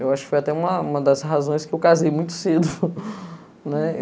Eu acho que foi até uma das razões que eu casei muito cedo, né?